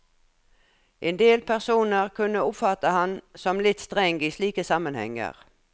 Endel personer kunne oppfatte ham som litt streng i slike sammenhenger.